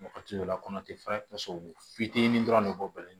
Wagati dɔ la kɔnɔ tɛ falen ka sɔrɔ u fitinin dɔrɔn de b'u bolo